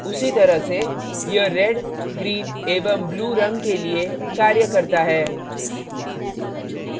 उसी तरह से यह red green एवं blue in के लिए कार्य करता है